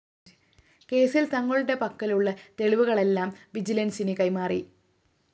കേസില്‍ തങ്ങളുടെ പക്കലുള്ള തെളിവുകളെല്ലാം വിജിലന്‍സിന് കൈമാറി